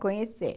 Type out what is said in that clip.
Conhecer.